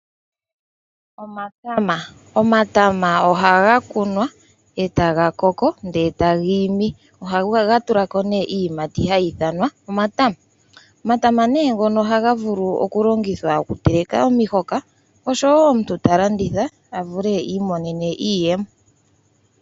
Omatama ohaga kunwa e taga koko, ndele taga imi. Ohaga tulako nee iyimati hayi ithanwa omatama. Omatama ne ngono ohaga vulu okulongithwa okuteleka omihoka, oshowo omuntu ta landitha opo iimonene iiyemo.